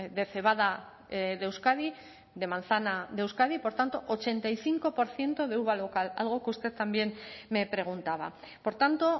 de cebada de euskadi de manzana de euskadi por tanto ochenta y cinco por ciento de uva local algo que usted también me preguntaba por tanto